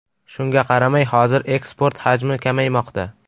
Shunga qaramay, hozir eksport hajmi kamaymoqda.